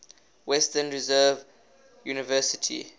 western reserve university